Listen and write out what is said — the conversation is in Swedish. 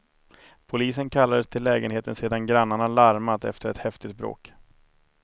Polisen kallades till lägenheten sedan grannarna larmat efter ett häftigt bråk.